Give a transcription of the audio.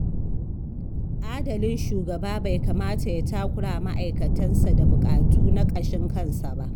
Adalin shugaba bai kamata ya takurawa ma’aikatansa da buƙatu na ƙashin kansa ba.